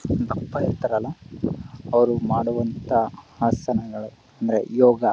ದಪ್ಪ ಇರ್ತಾರಲ್ಲ ಅವ್ರು ಮಾಡುವಂತಹ ಆಸನಗಳು ಅಂದ್ರೆ ಯೋಗ--